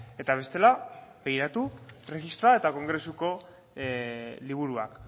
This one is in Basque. eta bestela begiratu erregistroa eta kongresuko liburuak